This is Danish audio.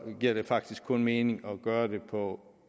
giver det faktisk kun mening at gøre det på